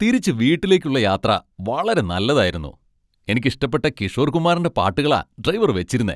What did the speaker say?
തിരിച്ചു വീട്ടിലേക്ക് യാത്ര വളരെ നല്ലതായിരുന്നു. എനിക്ക് ഇഷ്ടപ്പെട്ട കിഷോർ കുമാറിന്റെ പാട്ടുകളാ ഡ്രൈവർ വെച്ചിരുന്നെ.